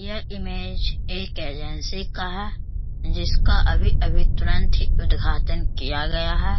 यह इमेज एक एजेंसी का है जिसका अभी-अभी तुरंत ही उद्धघाटन किया गया है।